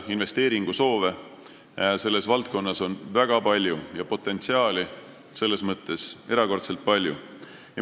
Investeeringusoove on selles valdkonnas väga palju ja potentsiaal selles mõttes erakordselt suur.